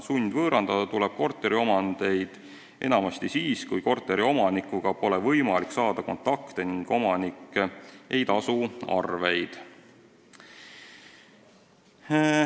Sundvõõrandada tuleb korteriomandeid enamasti siis, kui omanikuga pole võimalik kontakti saada ning omanik ei tasu arveid.